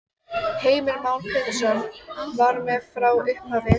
Heimir Már Pétursson: Vera með frá upphafi?